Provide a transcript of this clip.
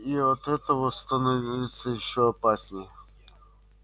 и от этого становится ещё опаснее